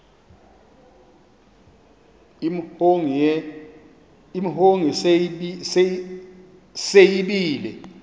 imhongi se yibile